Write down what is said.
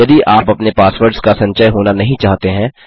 यदि आप अपने पासवर्ड्स का संचय होना नहीं चाहते हैं